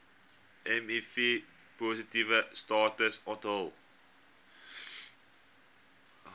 mivpositiewe status onthul